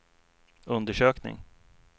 undersökning